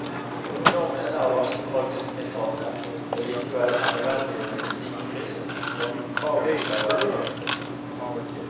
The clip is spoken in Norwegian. Nå mener vassdragsetaten det likevel er nødvendig med en slik frist for når kravene skal være innfridd.